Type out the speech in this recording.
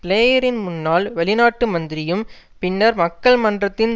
பிளேயரின் முன்னாள் வெளிநாட்டு மந்திரியும் பின்னர் மக்கள் மன்றத்தின்